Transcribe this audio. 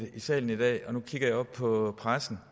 i salen i dag og nu kigger jeg op på pressen